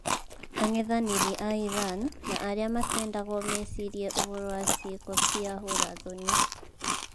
Ang'ethaniri a Iran, na arĩa matendagwo me cirie ũhoro wa ciĩko cia hũra thoni